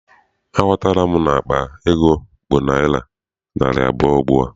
Aghọtala m na akpa ego bụ naịra narị abụọ ugbua.